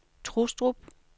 Trustrup